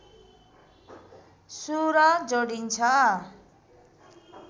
सुर जोडिन्छ